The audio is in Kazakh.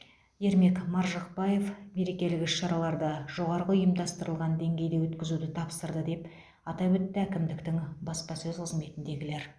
ермек маржықпаев мерекелік іс шараларды жоғарғы ұйымдастырылған деңгейде өткізуді тапсырды деп атап өтті әкімдіктің баспасөз қызметіндегілер